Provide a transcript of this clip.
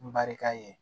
N barika ye